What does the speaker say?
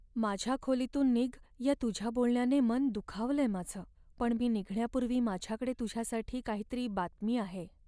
माझ्या खोलीतून निघ या तुझ्या बोलण्याने मन दुखावलंय माझं, पण मी निघण्यापूर्वी माझ्याकडे तुझ्यासाठी काहीतरी बातमी आहे.